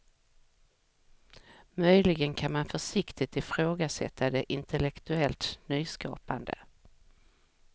Möjligen kan man försiktigt ifrågasätta det intellektuellt nyskapande.